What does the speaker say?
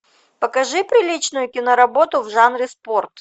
покажи приличную кино работу в жанре спорт